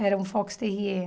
Era um Fox Terrier.